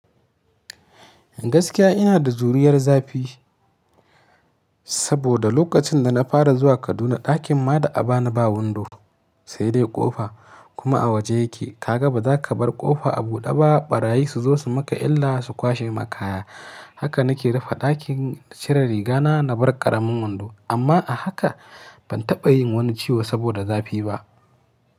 Gaskiya ina da juriyar zafi, saboda lokacin da na fara zuwa Kaduna ɗakin ma da akaba ni ba wando, sai dai ƙofa kuma a waje yake. Kaga baza ka bar ƙofa a buɗe ba ɓarayi su zo su maka illa su kwashe makaya. Haka na ke rufe ɗakin, cire riga na, na bar ƙaramin wando. Amma a haka ban taɓa yin wani ciwo saboda zafi ba.